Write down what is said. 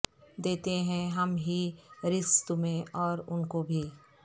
دیتے ہیں ہم ہی رزق تمہیں اور ان کوبھی